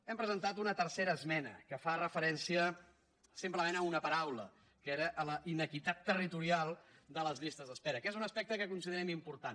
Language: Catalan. hem presentat una tercera esmena que fa referència simplement a una paraula que era la inequitat territorial de les llistes d’espera que és un aspecte que considerem important